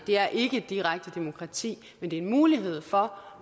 det er ikke direkte demokrati men det er en mulighed for